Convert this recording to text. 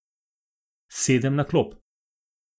Sedem na klop.